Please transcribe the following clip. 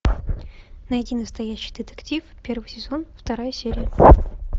найди настоящий детектив первый сезон вторая серия